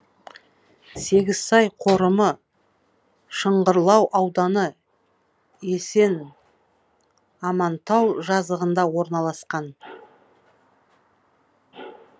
сегізсай қорымы шыңғырлау ауданы есенамантау жазығында орналасқан